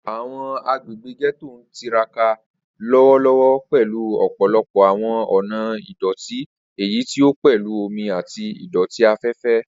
Awọn agbegbe Getto n tiraka lọwọlọwọ pẹlu ọpọlọpọ awọn ọna idoti, eyiti o pẹlu omi ati idoti afẹfẹ.